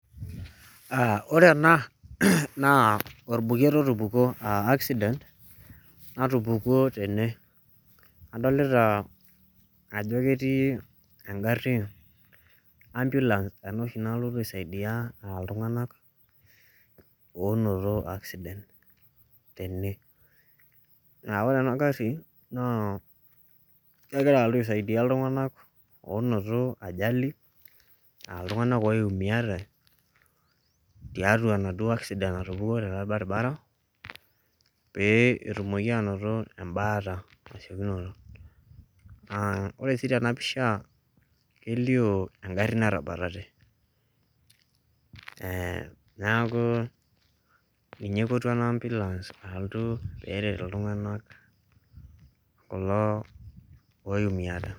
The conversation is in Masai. aa ore ena naa orbuket otupukuo accident otupukuo tene. adoolta ajo ketii agari ambulance. ena oshi nalotu aisaidia iltungank oonoto accident tene. naa ore ena gari naa kegira alotu aisaidia iltunganak onoto ajali aa iltunganak oimiate, tiatua enaduoo accident natupukuo tele baribara. pee etumoki anoto ebaare tesiokinoto. naa ore sii tena pisha kelio egari natabatate. neeku ninye eipotuo ena ambulance pe eret iltungank kulo oimiate.